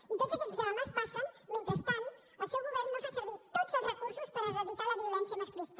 i tots aquests drames passen mentre el seu govern no fa servir tots els recursos per erradicar la violència masclista